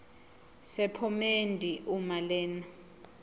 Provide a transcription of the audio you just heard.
sephomedi uma lena